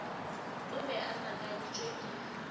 o be a makaditšwe ke